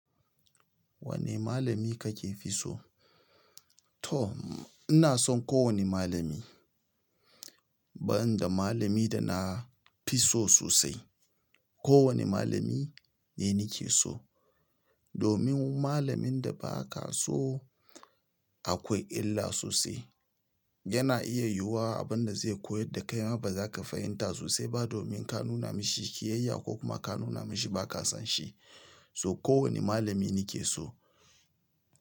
Wane malami ka ke fi so? To, ina son kowane malami. Ban da malamin da na fi so sosai, kowane malami ne nake so. Domin malamin da ba ka so akwai illa sosai. Yana iya yiwuwa abin da zai koyar da kai ma ba za ka fahimta sosai ba domin ka nuna mishi kiyayya ko kuma ka nuna mashi ba ka son shi. So kowane malami ni ke so.